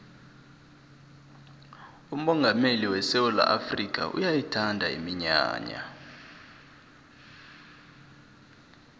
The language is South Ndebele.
umongameli wesewula afrikha uyayithanda iminyanya